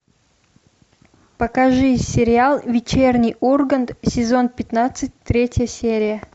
покажи сериал вечерний ургант сезон пятнадцать третья серия